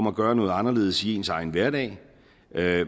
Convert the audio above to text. at gøre noget anderledes i ens egen hverdag